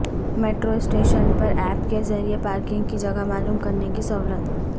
metro station پر app کے ذریعہ پارکنگ کی جگہ معلوم کرنے کی سہولت